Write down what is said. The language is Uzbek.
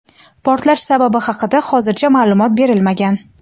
Portlash sababi haqida hozircha ma’lumot berilmagan.